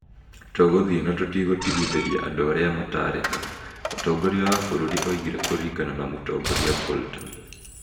" Tũgũthiĩ na tũtigũtigithĩria andũ arĩa mataarĩhaga," mũtongoria wa bũrũri oigire Kũringana na mũtongoria Bolton.